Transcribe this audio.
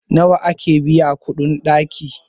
nawa ake biyan kuɗin ɗaki?